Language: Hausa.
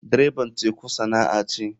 Dreban teku sana'a ce.